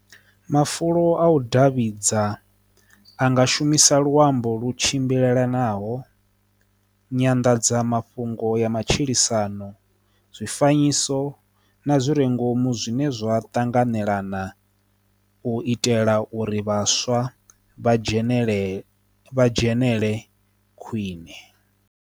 Mafulo a u davhidzana a nga shumisa luambo lu tshimbilelanaho nyanḓadzamafhungo ya matshilisano zwi fanyisa so na zwi re ngomu zwine zwa tanganelana u itela uri vhaswa vha dzhenelele vha dzhenelele khwine.